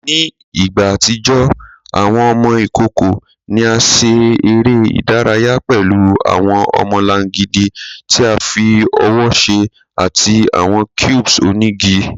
Ni igba atijọ, awọn ọmọ ikoko ni a ṣe ere idaraya pẹlu awọn ọmọlangidi ti a fi ọwọ ṣe ati awọn cubes onigi